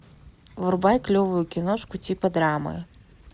врубай клевую киношку типа драмы